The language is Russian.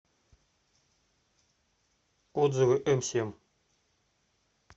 отзывы эмсемь